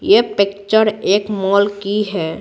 ये पिक्चर एक मॉल की है।